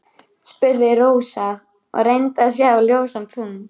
spurði Rósa og reyndi að sjá ljósan punkt.